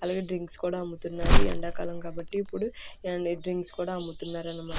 అలాగే డ్రింక్స్ కూడా అమ్ముతున్నారు.ఎండా కాలం కాబట్టి. ఇప్పుడు ఎండ్-డ్రింక్స్ కూడా అమ్ముతున్నారు అనిమా--